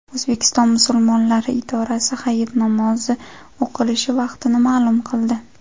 O‘zbekiston Musulmonlari idorasi hayit namozi o‘qilishi vaqtini ma’lum qildi.